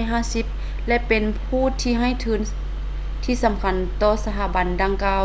1950 ແລະ ເປັນຜູ້ໃຫ້ທຶນທີ່ສຳຄັນຕໍ່ສະຖາບັນດັ່ງກ່າວ